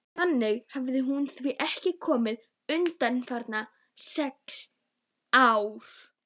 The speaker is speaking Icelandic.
Þangað hafði hún því ekki komið undanfarin sex ár.